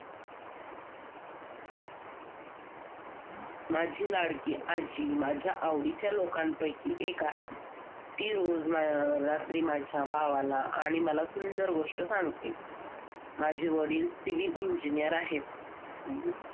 माझी लाडकी आजी माझ्या आवडीच्या लोकांपैकी एक आहे. ती रोज हम्म रात्री माझ्या भावाला आणि मला सुंदर गोष्ट सांगते माझे वडील Civil Engineer आहेत